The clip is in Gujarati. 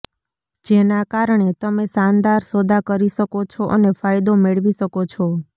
જેના કારણે તમે શાનદાર સોદા કરી શકો છો અને ફાયદો મેળવી શકો છો